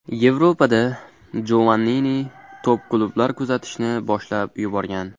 Yevropada Jovannini top-klublar kuzatishni boshlab yuborgan.